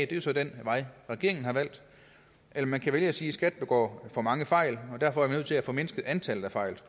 det er så den vej regeringen har valgt eller man kan vælge at sige at skat begår for mange fejl og derfor er vi nødt til at formindske antallet af fejl